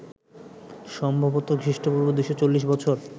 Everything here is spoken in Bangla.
সম্ভবত খ্রীষ্ট্পূর্ব ২৪০ বছর